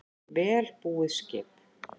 Vel búið skip